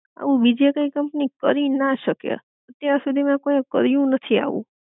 આવું બીજે કાઇ કંપની કરી ના શકે, અત્યાર સુધી માં કોઈ એ કર્યું નથી આવું